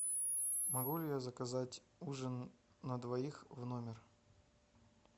могу ли я заказать ужин на двоих в номер